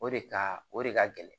O de ka o de ka gɛlɛn